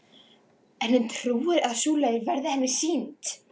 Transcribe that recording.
En hún trúir að sú leið verði henni sýnd.